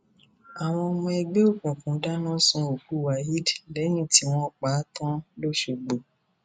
àwọn ọmọ ẹgbẹ òkùnkùn dáná sun òkú waheed lẹyìn tí wọn pa á tán lọsgbọ